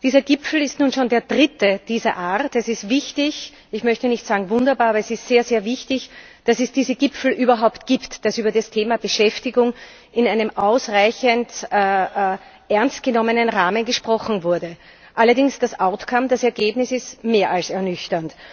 Dieser Gipfel ist nun schon der dritte dieser Art. Es ist wichtig ich möchte nicht sagen, wunderbar aber es ist sehr wichtig, dass es diese Gipfel überhaupt gibt, dass über das Thema Beschäftigung in einem ausreichend ernst genommenen Rahmen gesprochen wurde. Allerdings, das Ergebnis ist mehr als ernüchternd.